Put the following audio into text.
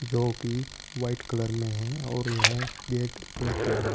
जोकि white colour में है और यह गेट ब्लैक कलर में।